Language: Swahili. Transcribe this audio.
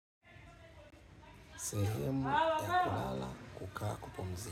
Sehemu ya kulala kukaa kupumzika.